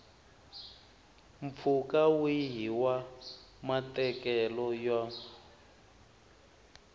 mpfhuka wihi wa matekelo ya